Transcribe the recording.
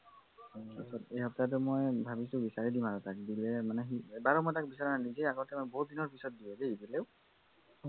এই সপ্তাহটো মই ভাবিছোঁ বিচাৰি দিওঁ আৰু তাক দিলে মানে সি এবাৰো মই তাক বিচৰা নাই নিজে আগতে দিলেও বহুতদিনৰ পিছত দিয়ে দেই দিলেও